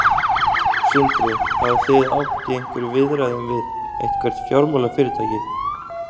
Sindri: Hafið þið átt í einhverjum viðræðum við eitthvert fjármálafyrirtæki?